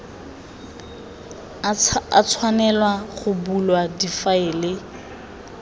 a tshwanelwa go bulwa difaele